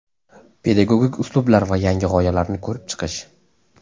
Pedagogik uslublar va yangi g‘oyalarni ko‘rib chiqish.